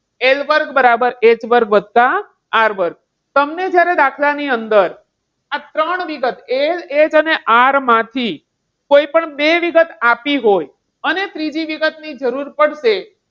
L વર્ગ બરાબર H વર્ગ વત્તા આર વર્ગ. તમને જ્યારે દાખલાની અંદર આ ત્રણ વિગત LH અને R માંથી કોઈ પણ બે વિગત આપી હોય અને ત્રીજી વિગતની જરૂર પડશે.